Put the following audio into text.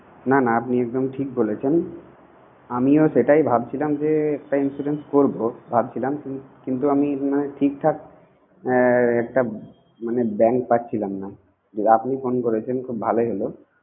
না না আপনি একদম ঠিক বলেছেন। আমি ও সেটাই ভাবছিলাম যে একটা insurance করব। ভাবছিলাম। আমি ঠিকঠাক একটা bank পাচ্ছিলাম না। আপনি phone করেছেন খুব ভালোই হলো।